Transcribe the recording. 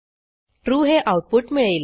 true हे output मिळेल